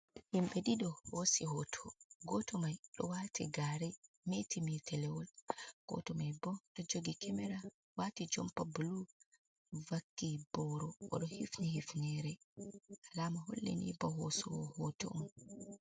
Himɓe ɗiɗo hoosi hooto, gooto mai ɗo waati gaare meeti meetelewol, gooto mai boo ɗo jogi kamera waati jompa bulu vakki booro o ɗo hifni hifneere alaama holli nii ba hoosoowo hoto on.